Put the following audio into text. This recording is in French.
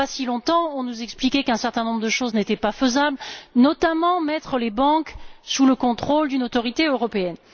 Il n'y a pas si longtemps, on nous expliquait qu'un certain nombre de choses n'étaient pas faisables, notamment mettre les banques sous le contrôle d'une autorité européenne.